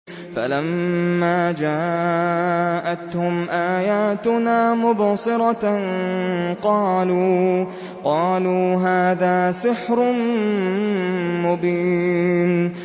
فَلَمَّا جَاءَتْهُمْ آيَاتُنَا مُبْصِرَةً قَالُوا هَٰذَا سِحْرٌ مُّبِينٌ